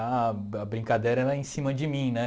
A a brincadeira era em cima de mim, né?